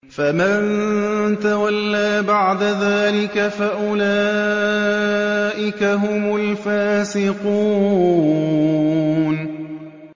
فَمَن تَوَلَّىٰ بَعْدَ ذَٰلِكَ فَأُولَٰئِكَ هُمُ الْفَاسِقُونَ